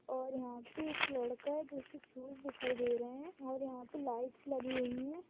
और यहा पे एक लड़का है जिसके शूज दिखाई दे रहे है और यहा पे लाइटस लगी हुई है।